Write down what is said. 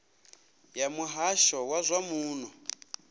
ya muhasho wa zwa muno